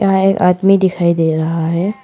यहां एक आदमी दिखाई दे रहा है।